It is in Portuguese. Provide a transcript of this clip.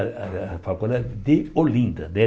A a a faculdade de Olinda, né?